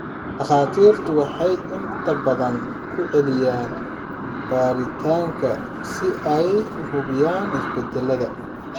Dhakhaatiirtu waxay inta badan ku celiyaan baaritaanadan si ay u hubiyaan isbedelada.